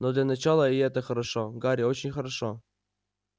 но для начала и это хорошо гарри очень хорошо